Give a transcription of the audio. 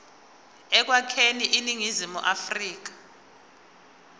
ekwakheni iningizimu afrika